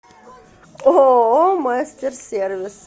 ооо мастер сервис